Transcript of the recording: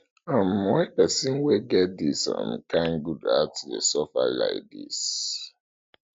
um why pesin wey get dis um kain good heart dey suffer lai dis um